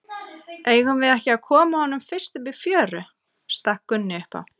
Eigum við ekki að koma honum fyrst upp í fjöru, stakk Gunni upp á.